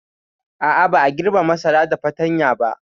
A'a, ba a girbe masara da fatanya ba.